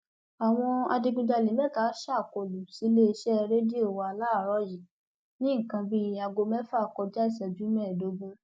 àwọn adigunjalè mẹta ṣàkólú síléeṣẹ rédíò wa láàárọ yìí ní nǹkan bíi aago mẹfà kọjá ìṣẹjú mẹẹẹdógún